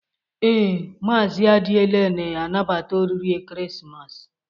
Ee, Maazị Adiele na-anabata oriri ekeresimesi.